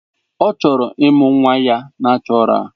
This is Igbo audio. Ọ chọrọ ịmụ nwa ya nachoral.